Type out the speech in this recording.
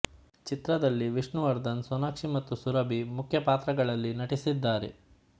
ಚಿತ್ರದಲ್ಲಿ ವಿಷ್ಣುವರ್ಧನ್ ಸೋನಾಕ್ಷಿ ಮತ್ತು ಸುರಭಿ ಮುಖ್ಯ ಪಾತ್ರಗಳಲ್ಲಿ ನಟಿಸಿದ್ದಾರೆ